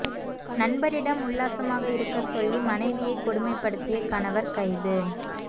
நண்பரிடம் உல்லாசமாக இருக்க சொல்லி மனைவியை கொடுமைபடுத்திய கணவர் கைது